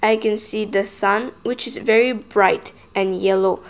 i can see the sun which is very bright and yellow